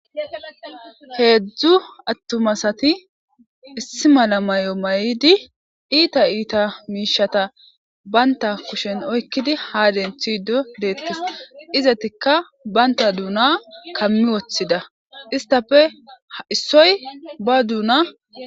Heedzdzu atuma asati issi mala mayo mayidi iita iita miishshata bantta kushen oykkidi ha denththido deetees. Izatikka bantha duuna kammi wothida. istappe ha issoy ba duuna..